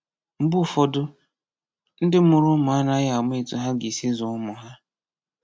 Mgbe ụfọdụ, ndị mụrụ ụmụ anaghị ama etu ha ga-esi zụọ ụmụ ha.